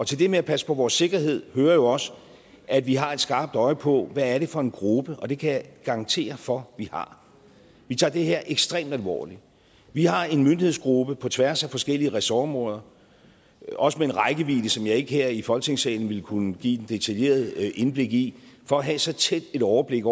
til det med at passe på vores sikkerhed hører jo også at vi har et skarpt øje på hvad det er for en gruppe og det kan jeg garantere for at vi har vi tager det her ekstremt alvorligt vi har en myndighedsgruppe på tværs af forskellige ressortområder også med en rækkevidde som jeg ikke her i folketingssalen vil kunne give et detaljeret indblik i for at have så tæt et overblik